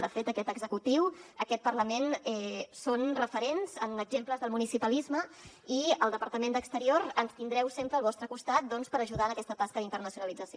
de fet aquest executiu aquest parlament són referents en exemples del municipalisme i al departament d’exterior ens tindreu sempre al vostre costat doncs per ajudar en aquesta tasca d’internacionalització